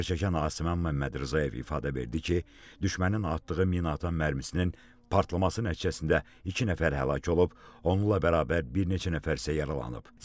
Zərər çəkən Asiməmməd Rzayev ifadə verdi ki, düşmənin atdığı minaatan mərmisinin partlaması nəticəsində iki nəfər həlak olub, onunla bərabər bir neçə nəfər isə yaralanıb.